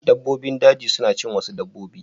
Dabbobin daji suna cin wasu dabbobi.